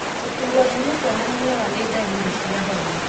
Gũturwo nĩ mũtwe na mĩnoga nĩ ndaririi cia homa.